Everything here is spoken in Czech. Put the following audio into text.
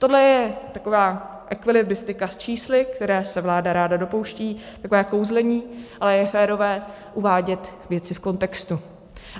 Tohle je taková ekvilibristika s čísly, které se vláda ráda dopouští, takové kouzlení, ale je férové uvádět věci v kontextu.